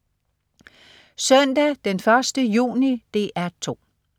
Søndag den 1. juni - DR 2: